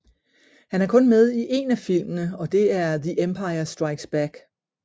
Han er kun med i en af filmene og det er The Empire Strikes Back